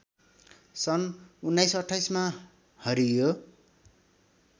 सन् १९२८ मा हरियो